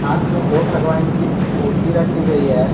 पास मे दो भगवान की मूर्ति रखी गई है।